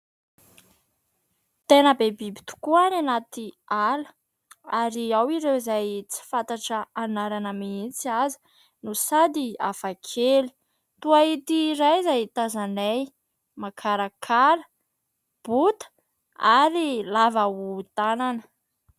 Tena be biby tokoa any anaty ala ary ao ireo izay tsy fantatra anarana mihitsy aza no sady hafakely toy ity iray izay tazanay makarakara, bota ary lava hohon-tanana.